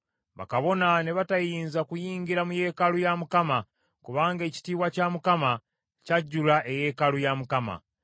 Bakabona ne batayinza kuyingira mu yeekaalu ya Mukama kubanga ekitiibwa kya Mukama kyajjula eyeekaalu ya Mukama .